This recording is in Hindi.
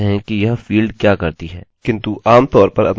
आप खुद से स्मरण कर सकते हैं कि यह फील्ड क्या करती है